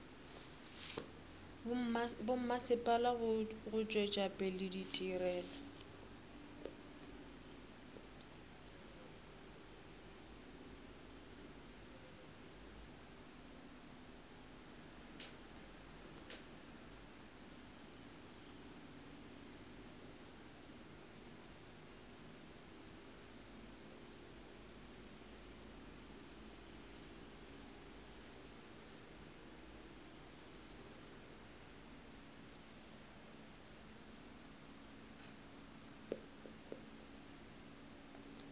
bommasepala go tšwetša pele ditirelo